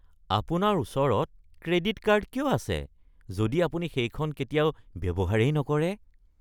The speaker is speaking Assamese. আপোনাৰ ওচৰত ক্ৰেডিট কাৰ্ড কিয় আছে যদি আপুনি সেইখন কেতিয়াও ব্যৱহাৰেই নকৰে?